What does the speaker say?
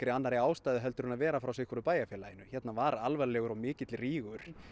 annarri ástæðu en að vera frá sitthvoru bæjarfélaginu hér var alvarlegur og mikill rígur